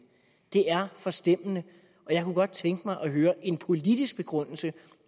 det er forstemmende og jeg kunne godt tænke mig at høre en politisk begrundelse